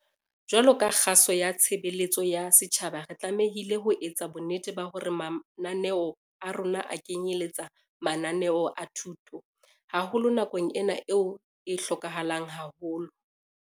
Jwaloka kgaso ya tshebeletso ya setjhaba re tlamehile ho etsa bonnete ba hore mananeo a rona a kenyelletsa mananeo a thuto, haholo nakong ena eo e hlokahalang haholo.